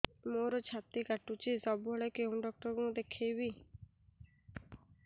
ମୋର ଛାତି କଟୁଛି ସବୁବେଳେ କୋଉ ଡକ୍ଟର ଦେଖେବି